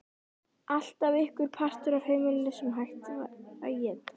Alltaf einhver partur af heimilinu sem hægt var að éta.